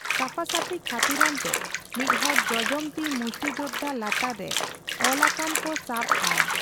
ᱥᱟᱯᱷᱟᱼᱥᱟᱹᱯᱷᱤ ᱠᱷᱟᱹᱛᱤᱨᱟᱱ ᱛᱮ ᱢᱤᱫᱦᱚᱲ ᱡᱚᱡᱚᱢ ᱛᱤ ᱢᱩᱥᱴᱤᱡᱚᱫᱷᱟ ᱞᱟᱛᱟᱨ ᱨᱮ ᱚᱞ ᱟᱠᱟᱱ ᱠᱚ ᱥᱟᱵ ᱟᱭ ᱾